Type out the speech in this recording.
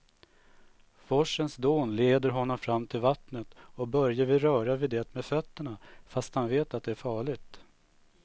Forsens dån leder honom fram till vattnet och Börje vill röra vid det med fötterna, fast han vet att det är farligt.